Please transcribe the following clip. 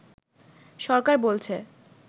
সরকার বলছে